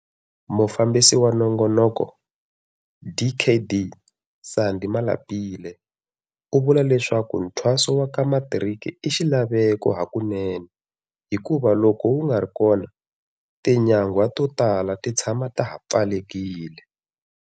Mufambisi wa nongonoko, Dkd Sandy Malapile, u vula leswaku nthwaso wa ka matiriki i xilaveko hakunene hikuva loko wu nga ri kona, tinyangwa to tala ti tshama ta ha pfalekile.